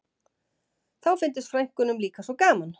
Þá fyndist frænkunum líka svo gaman